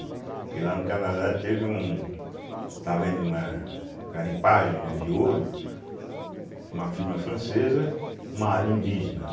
Porque lá no Canadá teve um, estava havendo uma garimpagem, né, de ouro, uma firma francesa, numa área indígena, né?